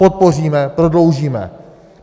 Podpoříme, prodloužíme.